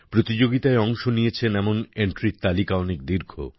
প্রতিযোগিতায় অংশ নিয়েছেন এমন এন্ট্রির তালিকা অনেক দীর্ঘ